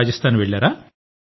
రాజస్థాన్ వెళ్లారా